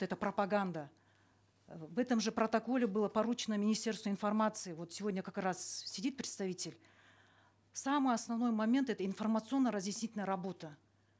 это пропаганда э в этом же протоколе было поручено министерству информации вот сегодня как раз сидит представитель самый основной момент это информационно разъяснительная работа